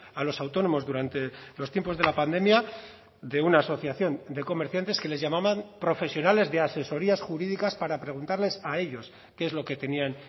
a los autónomos durante los tiempos de la pandemia de una asociación de comerciantes que les llamaban profesionales de asesorías jurídicas para preguntarles a ellos qué es lo que tenían